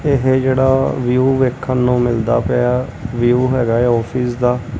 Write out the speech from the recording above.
ਇਹ ਜਿਹੜਾ ਵਿਊ ਵੇਖਣ ਨੂੰ ਮਿਲਦਾ ਪਿਆ ਵਿਊ ਹੈਗਾ ਆਫਿਸ ਦਾ।